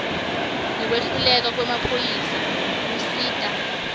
ngekwehluleka kwemaphoyisa kusita